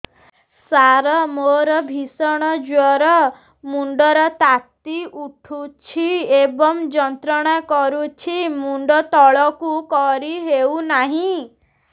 ସାର ମୋର ଭୀଷଣ ଜ୍ଵର ମୁଣ୍ଡ ର ତାତି ଉଠୁଛି ଏବଂ ଯନ୍ତ୍ରଣା କରୁଛି ମୁଣ୍ଡ ତଳକୁ କରି ହେଉନାହିଁ